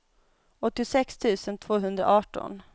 åttiosex tusen tvåhundraarton